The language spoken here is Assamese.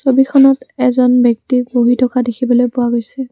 ছবিখনত এজন ব্যক্তি বহি থকা দেখিবলৈ পোৱা গৈছে।